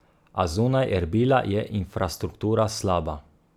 A zunaj Erbila je infrastruktura slaba.